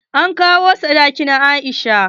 An kawo sadakin Aisha.